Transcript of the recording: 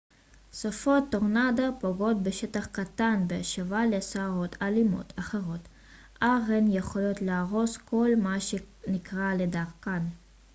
סופות טורנדו פוגעות בשטח קטן בהשוואה לסערות אלימות אחרות אך הן יכולות להרוס כל מה שנקרה לדרכן